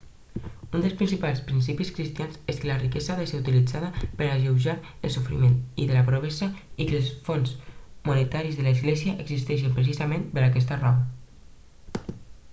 un dels principals principis cristians és que la riquesa ha de ser utilitzada per alleujar el sofriment i de la pobresa i que els fons monetaris de l'església existeixen precisament per aquesta raó